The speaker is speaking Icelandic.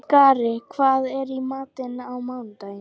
Skari, hvað er í matinn á mánudaginn?